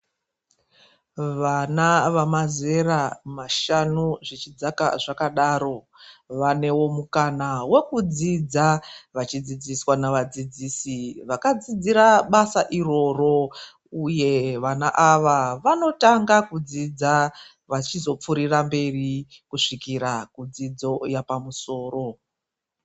Vana vemazera mashanu zvichidzaka zvakadaro vanewo mukana wokudzidza nekudzidziswa navadzidzisi vakadzidzira basa iroro uye vana ava vanotanga kudzidza vachizopfurira kumberi kusvikira kudzidzo yapamusoro.